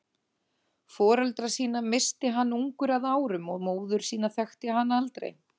Foreldra sína missti hann ungur að árum og móður sína þekkti hann aldrei.